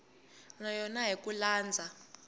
na yona hi ku landza